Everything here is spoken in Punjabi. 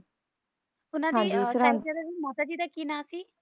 ਓਹਨਾ ਦੀ ਮੋਸਾ ਜੀ ਦਾ ਕਿ ਨਾਂ ਸੀ